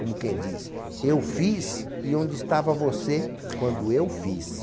Como quem diz, eu fiz e onde estava você quando eu fiz.